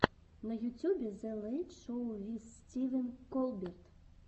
на ютюбе зе лэйт шоу виз стивен колберт